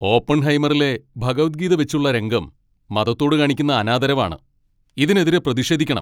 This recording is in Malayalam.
ഓപ്പൺഹൈമറിലെ ഭഗവദ്ഗീത വെച്ചുള്ള രംഗം മതത്തോട് കാണിക്കുന്ന അനാദരവ് ആണ്. ഇതിനെതിരെ പ്രതിഷേധിക്കണം.